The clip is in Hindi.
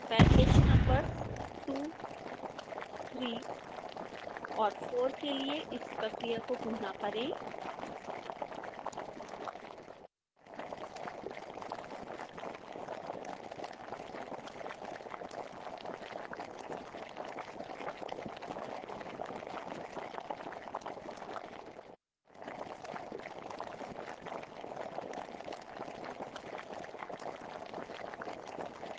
पैकेज नंबर्स 23 और 4 के लिए इस प्रक्रिया को पुनः करें